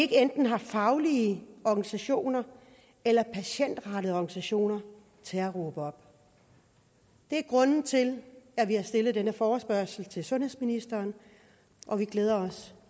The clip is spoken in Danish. enten har faglige organisationer eller patientrettede organisationer til at råbe op det er grunden til at vi har stillet denne forespørgsel til sundhedsministeren og vi glæder os